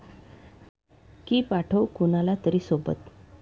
की पाठवू कुणाला तरी सोबत?